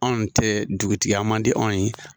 Anw tɛ dugutigiya man di anw ye.